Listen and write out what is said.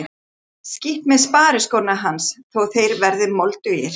Skítt með spariskóna hans þó að þeir verði moldugir!